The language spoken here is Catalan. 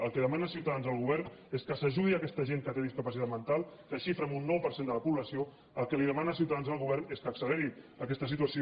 el que demana ciutadans al govern és que s’ajudi aquesta gent que té discapacitat mental que es xifra en un nou per cent de la població el que li demana ciutadans al govern és que acceleri aquesta situació